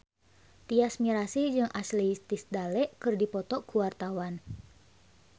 Tyas Mirasih jeung Ashley Tisdale keur dipoto ku wartawan